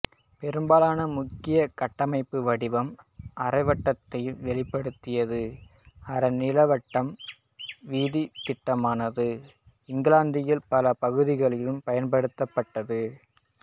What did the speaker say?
பெரும்பாலன முக்கிய கட்டமைப்பு வடிவம் அரைவட்டத்தை வெளிப்படுத்தியது அரை நீள்வட்ட வீதித் திட்டமானது இங்கிலாந்தின் பல பகுதிகளில் பயன்படுத்தப்பட்டது